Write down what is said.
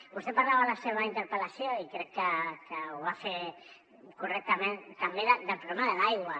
vostè parlava a la seva interpel·lació i crec que ho va fer correctament també del problema de l’aigua